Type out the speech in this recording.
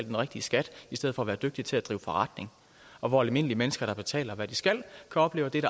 den rigtige skat i stedet for at være dygtige til at drive forretning og hvor almindelige mennesker der betaler hvad de skal kan opleve at